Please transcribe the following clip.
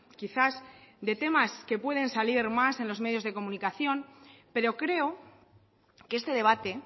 quizás de temas que pueden salir más en los medios de comunicación pero creo que este debate